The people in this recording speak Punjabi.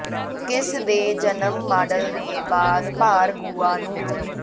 ਕਿਸ ਦੇ ਜਨਮ ਮਾਡਲ ਦੇ ਬਾਅਦ ਭਾਰ ਗੁਆ ਨੂੰ